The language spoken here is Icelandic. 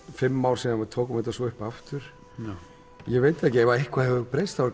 fimm ár síðan við tókum þetta svo upp aftur ég veit það ekki ef eitthvað hefur breyst þá er